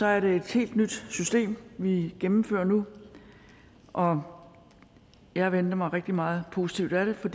er det et helt nyt system vi gennemfører nu og jeg venter mig rigtig meget positivt af det for